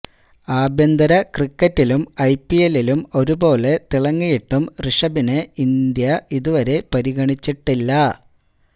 ആഭ്യന്തര ക്രിക്കറ്റിലും ഐപിഎല്ലിലും ഒരുപോലെ തിളങ്ങിയിട്ടും റിഷഭിനെ ഇന്ത്യ ഇതുവരെ പരിഗണിച്ചിട്ടില്ല